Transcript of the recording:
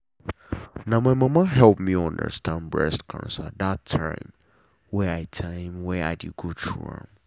na my mama help me understand breast cancer that time wey i time wey i dey go through am.